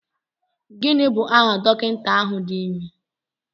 Gịnị bụ aha dọkịta ahụ dị ime?